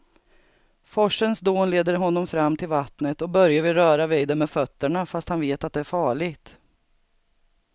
Forsens dån leder honom fram till vattnet och Börje vill röra vid det med fötterna, fast han vet att det är farligt.